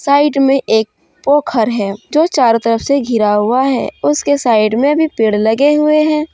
Side में एक पोखर है जो चारों तरफ से घिरा हुआ है उसके साइड में भी पेड़ लगे हुए हैं।